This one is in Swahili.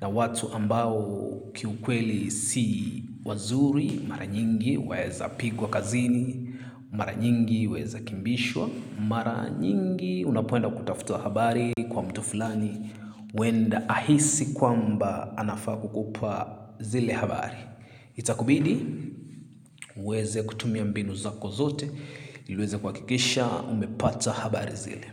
na watu ambao kiukweli si wazuri. Mara nyingi waeza pigwa kazini, mara nyingi waeza kimbishwa, mara nyingi unapoenda kutafuta habari kwa mtu flani huenda ahisi kuamba anafaa kukupa zile habari. Itakubidi, uweze kutumia mbinu zako zote ili uweze kuakikisha, umepata habari zile.